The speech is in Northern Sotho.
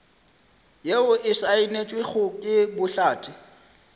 yeo e saenetšwego ke bohlatse